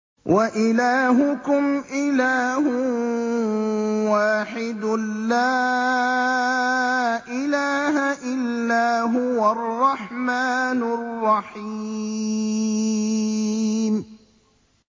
وَإِلَٰهُكُمْ إِلَٰهٌ وَاحِدٌ ۖ لَّا إِلَٰهَ إِلَّا هُوَ الرَّحْمَٰنُ الرَّحِيمُ